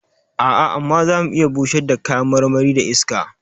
A'a, amma za mu iya bushar da kayan marmari da iska.